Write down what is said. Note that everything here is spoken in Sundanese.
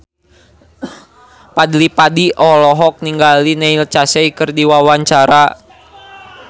Fadly Padi olohok ningali Neil Casey keur diwawancara